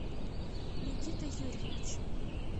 никита юрьевич